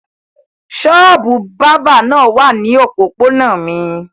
Ṣọ́ọ́bù bábà náà wà ní òpópónà mi.